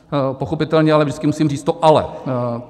Pochopitelně ale vždycky musím říct to "ale".